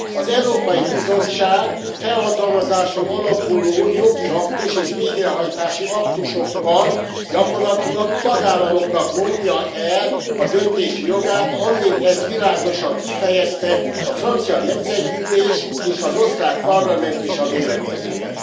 Az Európai Bizottság felhatalmazáson alapuló jogi aktus és végrehajtási aktusokkal gyakorlatilag a tagállamoknak vonja el a döntési jogát, amint ezt világosan kifejezte a Francia Nemzetgyűlés és az Osztrák Parlament is a véleményében.